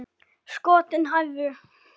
Skotin hæfðu!